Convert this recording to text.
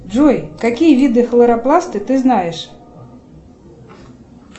джой какие виды хлоропласты ты знаешь